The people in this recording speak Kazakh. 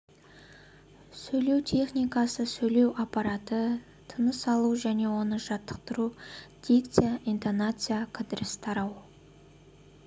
сөйлеу техникасы сөйлеу аппараты тыныс алу және оны жаттықтыру дикция интонация кідіріс тарау